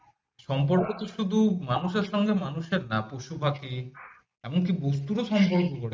সম্পর্ক তো শুধু মানুষের সাথে মানুষের না পশু পাখি এমনকি বস্তুর সাথে সম্পর্ক গড়ে তোলে